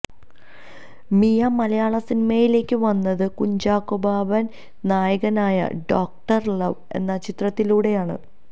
മിയ മലയാള സിനിമയിലേക്ക് വന്നത് കുഞ്ചാക്കോ ബോബന് നായകനായ ഡോക്ടര് ലവ് എന്ന ചിത്രത്തിലൂടെയാണ്